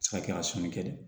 Se ka kɛ a sɔnni kɛ dɛ